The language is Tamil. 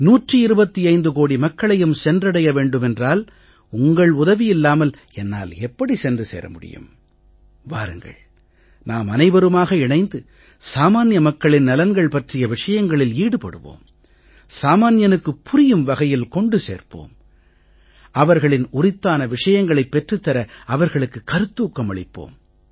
125 கோடி மக்களையும் சென்றடைய வேண்டுமென்றால் உங்கள் உதவியில்லாமல் என்னால் எப்படி சென்று சேர முடியும் வாருங்கள் நாமனைவருமாக இணைந்து சாமான்ய மக்களின் நலன்கள் பற்றிய விஷயங்களில் ஈடுபடுவோம் சாமான்யனுக்குப் புரியும் வகையில் கொண்டு சேர்ப்போம் அவர்களின் உரித்தான விஷயங்களைப் பெற்றுத் தர அவர்களுக்கு கருத்தூக்கம் அளிப்போம்